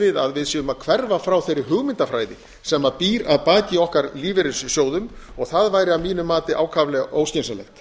við að við séum að hverfa frá þeirri hugmyndafræði sem býr að baki okkar lífeyrissjóðum og það væri að mínu mati ákaflega óskynsamlegt